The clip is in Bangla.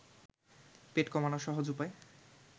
পেট কমানোর সহজ উপায়